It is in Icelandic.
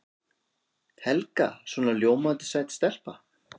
Helga svona ljómandi sæt stelpa.